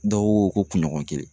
Dɔw ko ko kunɲɔgɔn kelen.